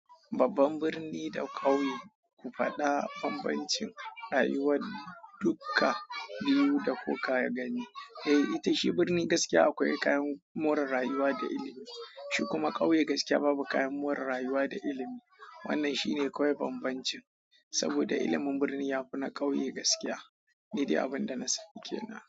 Babban birni da ƙauye, ku faɗa bambancin rayuwar dukka biyu da kuka gani. Eh, ita shi birni gaskiya akwai kayan more rayuwa da ilimi. Shi kuma ƙauye gaskiya babu kayan more rayuwa da ilimi. Wannan shine kawai bambancin, saboda ilimin birni ya fi na ƙauye gaskiya. Ni dai abin da na sani kenan.